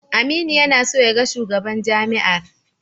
Aminu yana so ya ga shugaban jami'ar.